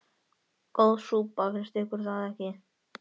Góð súpa, finnst ykkur það ekki?